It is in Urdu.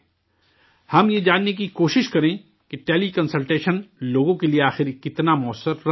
ہم یہ جاننے کی کوشش کریں کہ ٹیلی کنسلٹیشن لوگوں کے لیے آخر کتنا مؤثر رہا ہے